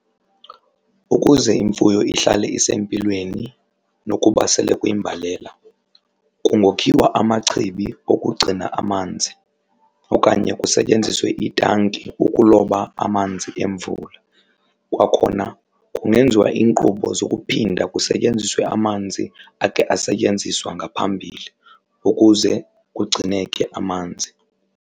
Ukuze imfuyo ihlale isempilweni nokuba sele kuyimbalela kungokhiwa amachibi okugcina amanzi okanye kusetyenziswe itanki ukuloba amanzi emvula. Kwakhona kungenziwa iinkqubo zokuphinda kusetyenziswe amanzi akhe asetyenziswa ngaphambili ukuze kugcineke amanzi.